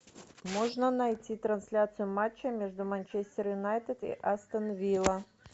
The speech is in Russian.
можно найти трансляцию матча между манчестер юнайтед и астон вилла